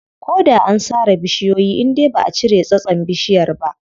Ko da an sare bishiyoyi indai baʼa cire tsatson bishiyar ba.